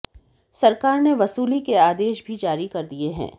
सरकार ने वसूली के आदेश भी जारी कर दिए हैं